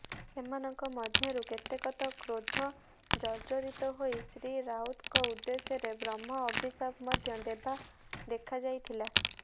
ସେମାନଙ୍କ ମଧ୍ୟରୁ କେତେକ ତ କ୍ରୋଧ ଜର୍ଜରିତ ହୋଇ ଶ୍ରୀ ରାଉତଙ୍କ ଉଦ୍ଦେଶ୍ୟରେ ବ୍ରହ୍ମ ଅଭିଶାପ ମଧ୍ୟ ଦେବା ଦେଖାଯାଇଥିଲା